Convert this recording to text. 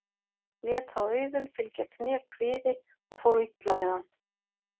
Lét þá Auðunn fylgja kné kviði og fór illa með hann.